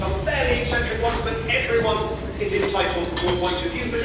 We've heard some fairly eccentric ones, but everyone is entitled to a point of view.